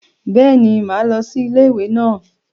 Béeni, máa lo sí Ilé ìwè naa